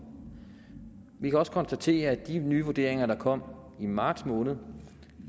vi kan også konstatere de nye vurderinger der kom i marts måned